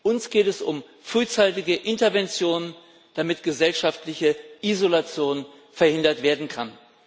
Uns geht es um frühzeitige Intervention, damit gesellschaftliche Isolation verhindert werden kann.